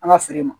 An ka feere ma